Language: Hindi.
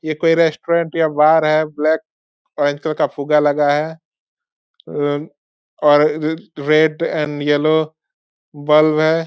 ये कोई रेस्टोरेंट या बार है ब्लैक ओरेंज कलर का फुग्गा लगा है। उम्म और रेड एंड येल्लो बल्ब है।